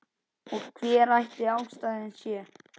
Og hver ætli ástæðan sé?